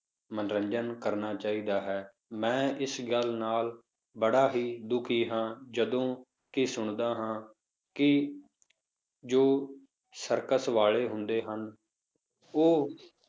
ਮਨੋਰੰਜਨ ਕਰਨਾ ਚਾਹੀਦਾ ਹੈ, ਮੈਂ ਇਸ ਗੱਲ ਨਾਲ ਬੜਾ ਹੀ ਦੁਖੀ ਹਾਂ, ਜਦੋਂ ਇਹ ਸੁਣਦਾ ਹਾਂ ਕਿ ਜੋ circus ਵਾਲੇ ਹੁੰਦੇ ਹਨ, ਉਹ